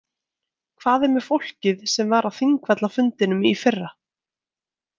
Hvað með fólkið sem var á Þingvallafundinum í fyrra?